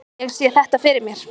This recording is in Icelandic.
Ég sé þetta fyrir mér.